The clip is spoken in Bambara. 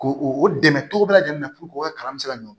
Ko o dɛmɛ cogo bɛɛ lajɛlen na puruke u ka kalan bɛ se ka ɲɔ